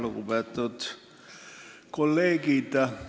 Lugupeetud kolleegid!